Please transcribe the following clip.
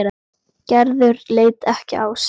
Gerður leit ekki á sitt.